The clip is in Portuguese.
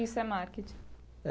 Isso é marketing?